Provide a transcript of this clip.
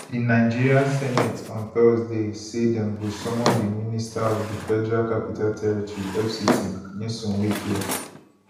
di nigeria senate on thursday say dem go summon di minister of di federal capital territory fct nyesom wike